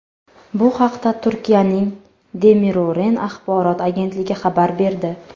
Bu haqda Turkiyaning Demiro‘ren axborot agentligi xabar berdi .